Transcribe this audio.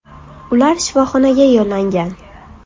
Ular shifoxonaga yo‘llangan.